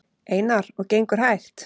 Einar: Og gengur hægt?